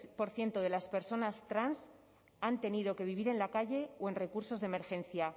por ciento de las personas trans han tenido que vivir en la calle o en recursos de emergencia